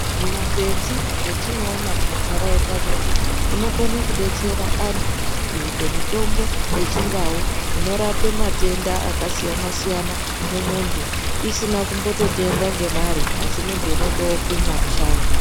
Zvimakwenzi zvetinoona mumantaraunda medu zvinokone kudetsera antu kuite mitombo yechindau inorape matenda akasiyana-siyana mumuntu isina kumbototengwa ngemare asi muntu unotookuma mushango.